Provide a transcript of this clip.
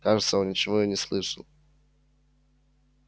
кажется он ничего и не слышал